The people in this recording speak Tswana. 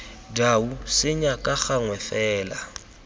dau senya ka gangwe fela